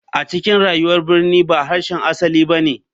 A cikin rayuwar birni ba harshen asali ba ne.